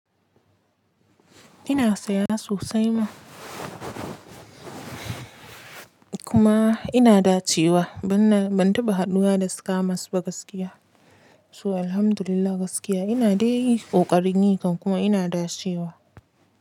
Ina saya sosai ma kuma ina dacewa ban na, ban taɓa haduwa da scammers ba gaskiya. So alhamdulillah gaskiya ina dai ƙoƙarin yi kan kuma ina dacewa.